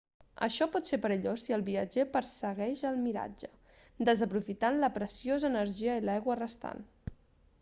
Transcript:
això pot ser perillós si el viatjer persegueix el miratge desaprofitant la preciosa energia i l'aigua restant